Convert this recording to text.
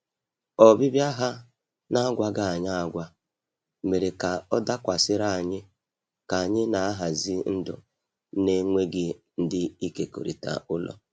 Ọbịbịa ha n’agwaghị anyi agwa mere ka ọ dakwasịrị anyị ka anyị na-ahazi ndụ na-enweghị ndị ịkekọrịta ụlọ.